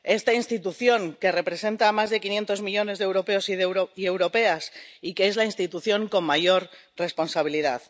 Esta institución que representa a más de 500 millones de europeos y europeas y que es la institución con mayor responsabilidad.